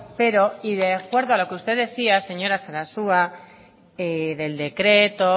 pero y de acuerdo a los que usted decía señora sarasua del decreto